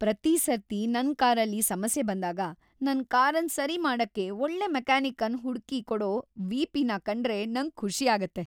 ಪ್ರತಿ ಸರ್ತಿ ನನ್ ಕಾರಲ್ಲಿ ಸಮಸ್ಯೆ ಬಂದಾಗ, ನನ್ ಕಾರನ್ ಸರಿ ಮಾಡಕ್ಕೆ ಒಳ್ಳೆ ಮೆಕ್ಯಾನಿಕ್ ಅನ್ ಹುಡ್ಕಿ ಕೊಡೊ ವಿ.ಪಿನ ಕಂಡ್ರೆ ನಂಗ್ ಖುಷಿ ಆಗುತ್ತೆ.